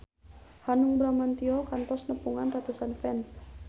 Hanung Bramantyo kantos nepungan ratusan fans